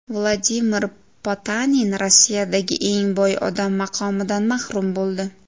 Vladimir Potanin Rossiyadagi eng boy odam maqomidan mahrum bo‘ldi.